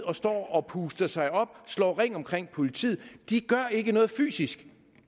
og står og puster sig op slår ring omkring politiet de gør ikke noget fysisk